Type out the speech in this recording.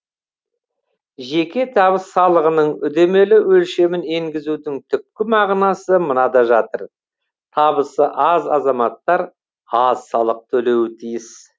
жеке табыс салығының үдемелі өлшемін енгізудің түпкі мағынасы мынада жатыр табысы аз азаматтар аз салық төлеуі тиіс